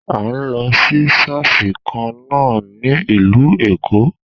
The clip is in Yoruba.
A n lọ sí ṣọ́ọ̀ṣì kan na a ní ìlú Èkó.